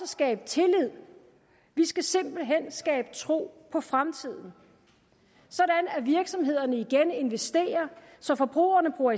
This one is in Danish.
skabe tillid vi skal simpelt hen skabe tro på fremtiden så virksomhederne igen investerer så forbrugerne bruger